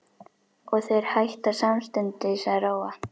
Og þeir hætta samstundis að róa.